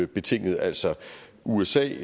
betinget altså usa